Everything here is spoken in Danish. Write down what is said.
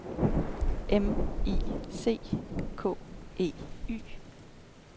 M I C K E Y